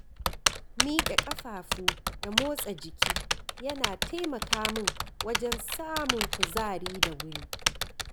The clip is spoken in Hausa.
Miƙe ƙafafu da motsa jiki yana taimaka min wajen samun kuzari da wuri.